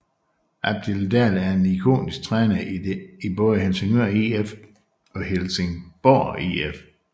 Albin Dahl er en ikonisk træner i både Helsingør IF og Helsingborg IF